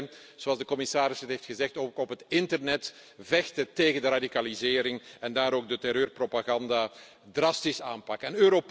Ten tweede, zoals de commissaris heeft gezegd, ook op het internet moeten we vechten tegen de radicalisering en ook daar de terreurpropaganda drastisch aanpakken.